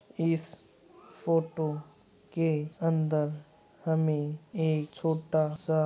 इस फोटो के अंदर हमें एक छोटा सा --